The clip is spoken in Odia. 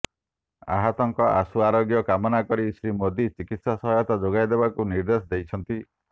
ଆହତଙ୍କ ଆଶୁ ଆରୋଗ୍ୟ କାମନା କରି ଶ୍ରୀ ମୋଦି ଚିକିତ୍ସା ସହାୟତା ଯୋଗାଇଦେବକୁ ନିଦେ୍ର୍ଦଶ ଦେଇଛନ୍ତି